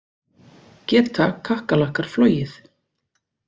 Geta kakkalakkar flogið?